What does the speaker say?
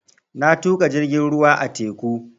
Na tuƙa jirgin ruwa a teku